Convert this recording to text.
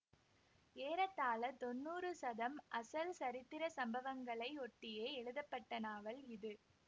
ஏறத்தாழ தொண்ணூறு சதம் அசல் சரித்திர சம்பவங்களை ஒட்டியே எழுதப்பட்ட நாவல் இது